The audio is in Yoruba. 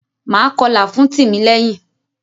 Máa kọlà fún Tìmílẹ́yìn.